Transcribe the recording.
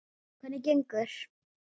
Hvernig gengur?